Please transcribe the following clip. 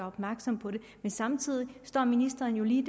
opmærksom på det men samtidig står ministeren jo lige